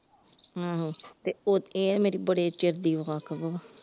ਹਮ ਹਮ ਤੇ ਇਹ ਮੇਰੀ ਬੜੇ ਚਿਰ ਦੀ ਵਾਕਵ ਆ ।